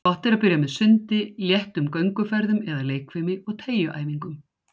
Gott er að byrja með sundi, léttum gönguferðum eða leikfimi og teygjuæfingum.